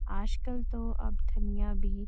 आजकल तो अब ठंडियाँ भी --